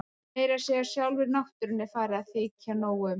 Meira að segja sjálfri náttúrunni er farið að þykja nóg um.